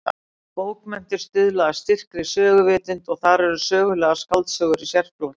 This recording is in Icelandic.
Bókmenntir stuðla að styrkri söguvitund og þar eru sögulegar skáldsögur í sérflokki.